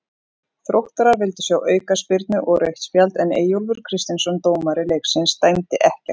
Þróttarar vildu sjá aukaspyrnu og rautt spjald en Eyjólfur Kristinsson dómari leiksins dæmdi ekkert.